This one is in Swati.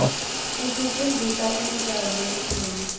isifundzisa imidlalo leminyenti